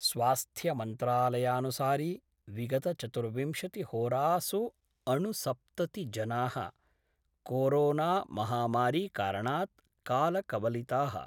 स्वास्थ्यमन्त्रालयानुसारी विगतचतुर्विंशति होरासुअणुसप्तति जना: कोरोनाममहामारी कारणात् कालकवलिता:।